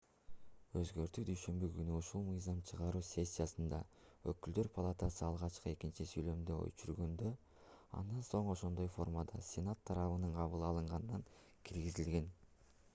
өзгөртүү дүйшөмбү күнү ушул мыйзам чыгаруу сессиясында өкүлдөр палатасы алгач экинчи сүйлөмдү өчүргөндө андан соң ошондой формада сенат тарабынан кабыл алынганда киргизилген